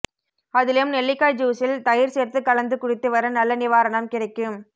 அதிலும் நெல்லிக்காய் ஜூஸில் தயிர் சேர்த்து கலந்து குடித்து வர நல்ல நிவாரணம் கிடைக்கும